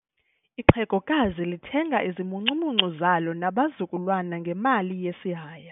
Ixhegokazi lithenga izimuncumuncu zalo nabazukulwana ngemali yesihaya.